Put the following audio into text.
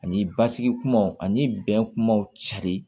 Ani basigi kumaw ani bɛnbaw cari